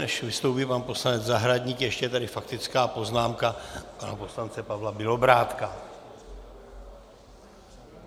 Než vystoupí pan poslanec Zahradník, ještě je tady faktická poznámka pana poslance Pavla Bělobrádka.